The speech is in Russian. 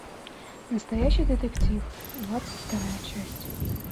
настоящий детектив двадцать вторая часть